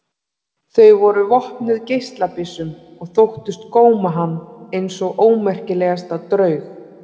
Þau voru vopnuð geislabyssum og þóttust góma hann eins og ómerkilegasta draug.